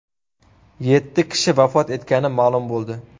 Yetti kishi vafot etgani ma’lum bo‘ldi.